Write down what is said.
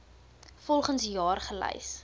volgens jaar gelys